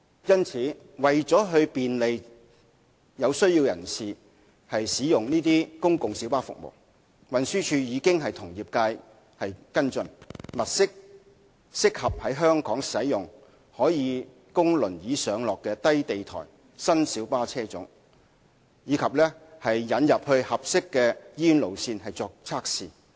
因此，為了便利有需要人士使用公共小巴服務，運輸署已經與業界跟進，物色適合在香港使用、可供輪椅上落的低地台新小巴車種，並將之引進合適的醫院路線作為測試。